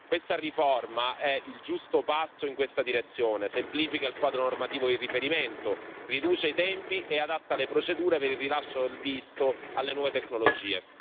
Questa riforma è il giusto passo in questa direzione, semplifica il quadro normativo di riferimento, riduce i tempi e adatta le procedure per il rilascio del visto alle nuove tecnologie.